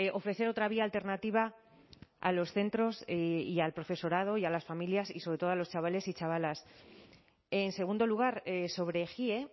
ofrecer otra vía alternativa a los centros y al profesorado y a las familias y sobre todo a los chavales y chavalas en segundo lugar sobre ejie